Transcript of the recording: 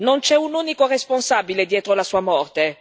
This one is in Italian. Non c'è un unico responsabile dietro la sua morte.